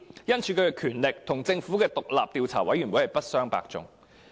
因此，其權力與政府的獨立調查委員會不相伯仲。